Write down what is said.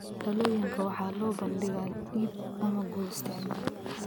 Dhalooyinka waxaa loo soo bandhigaa iib ama guri isticmaal.